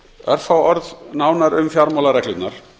örfá orð nánar um fjármálareglurnar